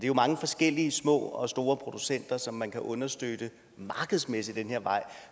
jo mange forskellige små og store producenter som man kan understøtte markedsmæssigt ad den her vej